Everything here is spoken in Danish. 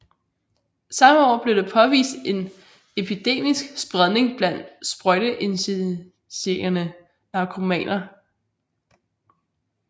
Samme år blev det påvist en epidemisk spredning blandt sprøjteinjicerende narkomaner